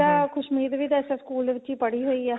ਨਹੀਂ ਤਾ ਖੁਸ਼ਮੀਤ ਵੀ ਤਾਂ ਇਸ ਸਕੂਲ ਵਿੱਚ ਹੀ ਪੜੀ ਹੋਈ ਏ